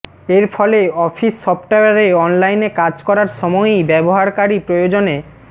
এর ফলে অফিস সফটওয়্যারে অনলাইনে কাজ করার সময়ই ব্যবহারকারী প্রয়োজনে